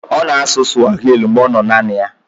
Ọ na-asụ swahili mgbe ọ nọ naanị ya.